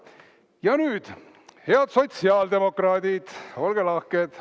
Ja nüüd, head sotsiaaldemokraadid, olge lahked!